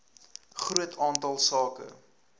groot aantal sake